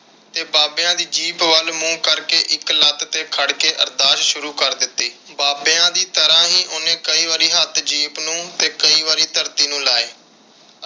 ਤੇ ਬਾਬਿਆਂ ਦੀ ਜੀਪ ਵੱਲ ਮੂੰਹ ਕਰਕੇ ਇਕ ਲੱਤ ਤੇ ਖੜ ਕੇ ਅਰਦਾਸ ਸ਼ੂਰੂ ਕਰ ਦਿੱਤੀ। ਬਾਬਿਆਂ ਦੀ ਤਰ੍ਹਾਂ ਹੀ ਉਹਨੇ ਕਈ ਵਾਰੀ ਹੱਥ ਜੀਪ ਨੂੰ ਤੇ ਕਈ ਵਾਰੀ ਧਰਤੀ ਨੂੰ ਲਾਏ।